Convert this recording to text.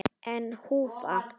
Ein húfa.